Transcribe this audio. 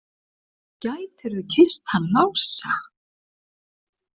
Gætirðu kysst hann Lása?